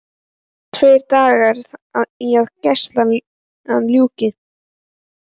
Tveir dagar í að gæslunni ljúki.